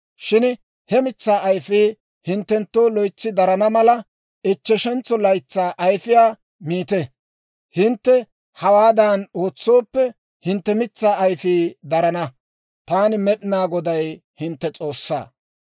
Shin he mitsaa ayfii hinttenttoo loytsi darana mala, ichcheshentso laytsaa ayfiyaa miite. Hintte hawaadan ootsooppe, hintte mitsaa ayfii darana. Taani Med'inaa Goday hintte S'oossaa.